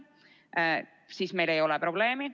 Siis meil ei ole probleemi.